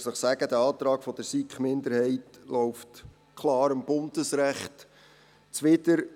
Dazu möchte ich Ihnen sagen, dass dieser Antrag der SiK-Minderheit dem Bundesrecht klar zuwiderläuft.